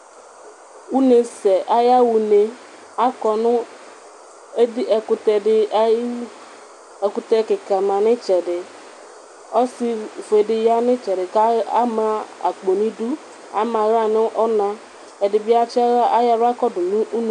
Unesɛ ayaxa une Akɔnʋ ɛkʋtɛdi ayʋ iwʋ, ɛkʋtɛ kika manʋ itsɛdi, ɔsifuedi yanʋ itsɛdi kʋ ama akpo nʋ idʋ, ama aɣla nʋ ɔna, ɛdibi ayɔ aɣla yɔkɔdʋ nʋ ʋnʋkʋ